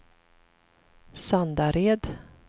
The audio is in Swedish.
Sandared